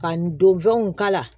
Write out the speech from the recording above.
Ka n don fɛnw k'a la